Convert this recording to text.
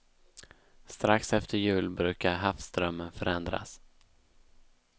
Strax efter jul brukar havsströmmen förändras.